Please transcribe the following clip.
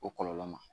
O kɔlɔlɔ ma